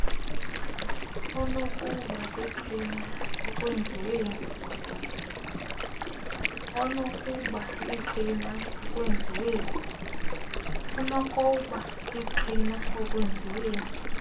onokuba lingqina ekwenziweni